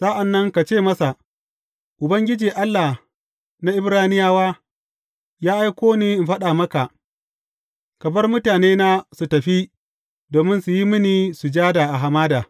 Sa’an nan ka ce masa, Ubangiji, Allah na Ibraniyawa, ya aiko ni in faɗa maka, Ka bar mutanena su tafi domin su yi mini sujada a hamada.